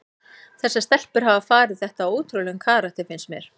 En þessar stelpur hafa farið þetta á ótrúlegum karakter finnst mér.